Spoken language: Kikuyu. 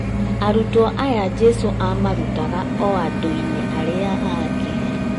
Arutwo aya Jesũ amarutaga o andũ-inĩ arĩa angĩ